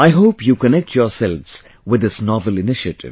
I hope you connect yourselves with this novel initiative